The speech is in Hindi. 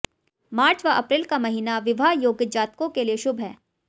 मार्च व अप्रैल का महीना विवाह योग्य जातकों के लिए शुभ है